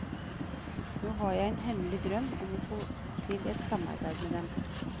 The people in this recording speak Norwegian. Nå har jeg en hemmelig drøm om å få til et samarbeide med dem.